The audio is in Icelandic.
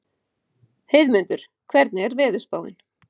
Heiðmundur, hvernig er veðurspáin?